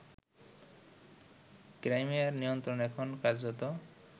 ক্রাইমিয়ার নিয়ন্ত্রণ এখন কার্যত